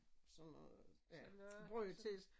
Sådan noget brød til